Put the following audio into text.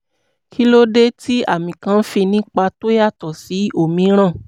kí ló dé tí àmì kan fi ní ipa tó yàtọ̀ sí òmíràn?